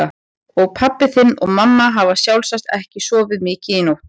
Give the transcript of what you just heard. Og pabbi þinn og mamma hafa sjálfsagt ekki sofið mikið í nótt.